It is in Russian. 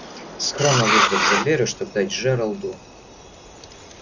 скромно выждав за дверью чтобы дать джералду